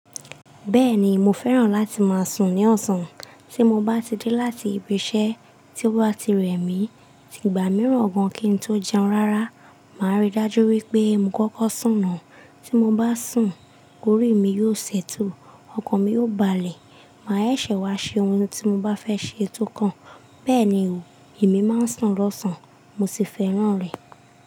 Bẹ́ẹ̀ni, mo fẹ́ràn láti máa sùn ní ọ̀sán. Tí mo bá ti dé láti ibi iṣẹ́, tí ó bá ti rẹ̀ mí, ti ìgbà mìíràn ọ̀gán kín n tó jẹun rárá, màá rí dájú wípé mò ń kọ́kọ́ sùn náà. Tí mo bá sùn, orí mi yóò ṣẹ́tù, ọkàn mi yóò balẹ̀, màá ṣẹ̀ wá ṣe ohun tí mo bá fẹ́ ṣe eto kan. Bẹ́ẹ̀ ni o, èmi máa ń sùn lọ́sàn-án, mo sì fẹ́ràn rẹ̀.